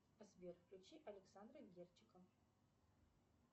сбер включи александра герчика